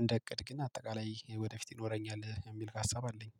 እንደ እቅድ ግን አጠቃላይ ወደፊት ይኖረኛል የሚል ሀሳብ አለኝ